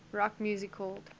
rock music called